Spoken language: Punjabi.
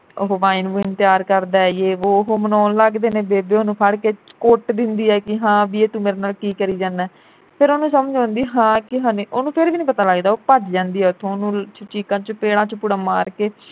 ਉਹ wine ਵੂਇਨ ਤਿਆਰ ਕਰਦਾ ਯੇਹ ਵੋ ਉਹ ਮਨਾਉਣ ਲੱਗਦੇ ਨੇ ਬੇਬੇ ਉਹਨੂੰ ਫੜ ਕਿ ਕੁੱਟ ਦਿੰਦੀ ਐ ਕਿ ਹਾਂ ਬਈ ਇਹ ਤੂੰ ਮੇਰੇ ਨਾਲ ਕੀ ਕਰੀ ਜਾਨਾ ਫਿਰ ਉਹਨੂੰ ਸਮਝ ਆਂਦੀ ਹਾਂ ਕਿ ਹਾਨੇ ਉਹਨੂੰ ਫਿਰ ਵੀ ਪਤਾ ਨੀ ਲੱਗਦਾ ਉਹ ਭੱਜ ਜਾਂਦੀ ਉਥੋਂ ਓਹਨੂੰ ਚੀਕਾਂ ਚਪੇੜਾ ਚਪੂੜਾ ਮਾਰ ਕੇ